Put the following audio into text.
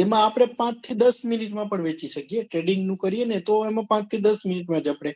એમાં આપડે પાંચ થી દસ minute માં પણ વેચી સકિયે trading કરીએ તો પાંચ થી દસ મિનીટ માં જ આપડે